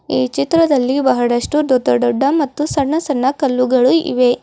ಈ ಚಿತ್ರದಲ್ಲಿ ಬಹಳಷ್ಟು ದೊಡ್ಡ ದೊಡ್ಡ ಮತ್ತು ಸಣ್ಣ ಸಣ್ಣ ಕಲ್ಲುಗಳು ಇವೆ.